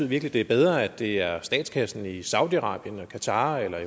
virkelig det er bedre at det er statskassen i saudi arabien eller qatar eller